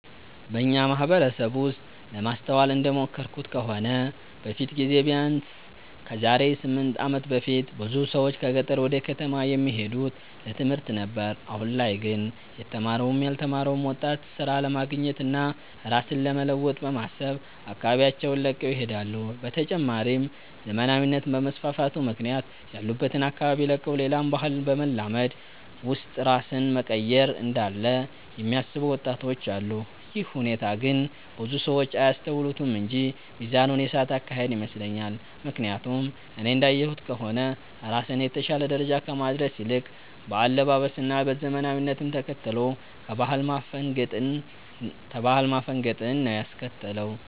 በኛ ማህበረሰብ ውስጥ ለማስተዋል እንደሞከርኩት ከሆነ በፊት ጊዜ ቢያነስ ከዛሬ 8 አመት በፊት ብዙ ሰዎች ከገጠር ወደ ከተማ የሚሄዱት ለትምህርት ነበር አሁን ላይ ግን የተማረውም ያልተማረው ወጣት ስራ ለማግኘት እና ራስን ለመለወጥ በማሰብ አካባቢያቸውን ለቀው ይሄዳሉ። በተጨማሪም ዘመናዊነት በመስፋፋቱ ምክንያት ያሉበትን አካባቢ ለቀው ሌላን ባህል በማላመድ ውስጥ ራስን መቀየር እንዳለ የሚያስቡ ወጣቶች አሉ። ይህ ሁኔታ ግን ብዙ ሰው አያስተውሉትም እንጂ ሚዛኑን የሳተ አካሄድ ይመስለኛል። ምክያቱም እኔ እንዳየሁት ከሆነ ራስን የተሻለ ደረጃ ከማድረስ ይልቅ በአለባበስ እና ዘመናዊነትን ተከትሎ ከባህል ማፈንገጥን ነው ያስከተለው።